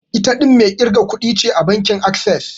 Ita ɗin mai ƙirga kuɗin ce a bankin Access.